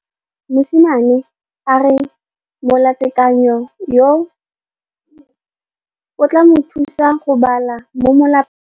Mosimane a re molatekanyô o tla mo thusa go bala mo molapalong.